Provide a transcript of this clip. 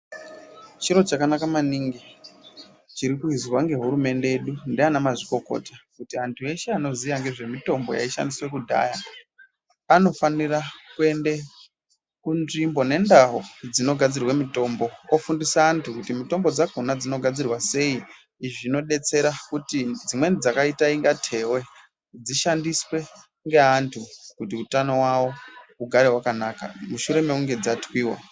Chiro chakanaka maningi chirikuizwa ngehurumende yedu ndiana mazvikokota, kuti antu eshe anoziya ngezvemishonga yaishandiswa kudhaya anofanira kuende kunzvimbo nendau dzinogadzirwe mitombo, ofundisa antu kuti mitombo dzakona dzinogadzirwa sei izvi zvinodetsera kuti dzimweni dzakaita inga tewe dzishandiswe ngeantu kuti utano wawo ugare wakanaka mushure mekunge dzatwiwa.